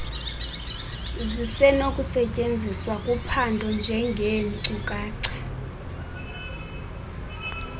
zisenokusetyenziswa kuphando njengeenkcukacha